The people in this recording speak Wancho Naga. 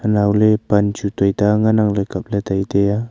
anaw ley pan chi tuta ngan ang kap ley tai tai a.